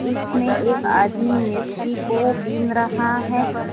इसमें एक आदमी मिर्ची को बिन रहा है।